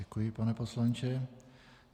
Děkuji, pane poslanče.